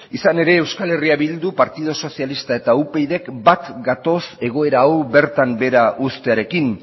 izan ere euskal herria bilduk partidu sozialistak eta upydk bat gatoz egoera hau bertan behera ustearekin